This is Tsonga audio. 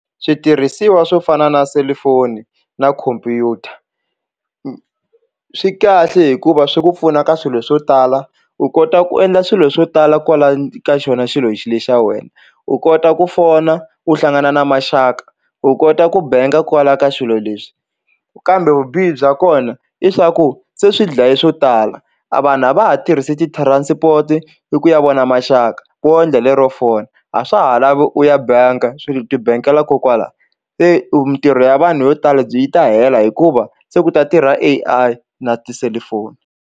Switirhisiwa swo fana na selufoni na khompyuta swi kahle hikuva swi ku pfuna ka swilo swo tala u kota ku endla swilo swo tala kwala ka xona xilo lexi xa wena u kota ku fona u hlangana na maxaka u kota ku benga kwala ka swilo leswi kambe vubihi bya kona i swa ku se swi dlaye swo tala a vanhu a va ha tirhisi ti-transport i ku ya vona maxaka wo endla lero phone a swa ha lavi u ya bank mi ti benkela kokwala se mintirho ya vanhu yo tala byi yi ta hela hikuva se ku ta tirha A_I na tiselifoni.